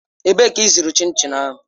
Ebee ka ịzụrụ chin chin ahụ?